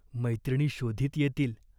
मैत्रिणी शोधीत येतील.